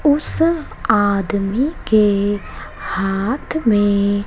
उस आदमी के हाथ में--